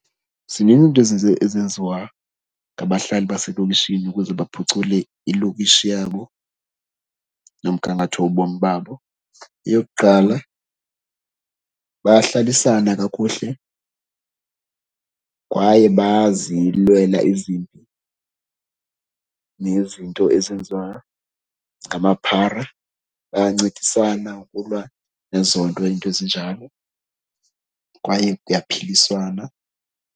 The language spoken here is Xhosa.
Zinintsi into ezenziwa ngabahlali baselokishini ukuze baphucule ilokishi yabo nomgangatho wobomi babo. Eyokuqala bayahlalisana kakuhle kwaye bazilwela izinto nezinto ezenziwa ngamaphara. Bayancedisana ukulwa nezo nto, iinto ezinjalo kwaye kuyaphiliswana.